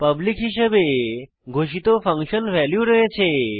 public হিসাবে ঘোষিত function value রয়েছে